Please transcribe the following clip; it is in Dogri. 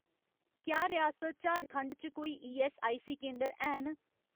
क्या रियासत झारखंड च कोई ईऐस्सआईसी केंदर हैन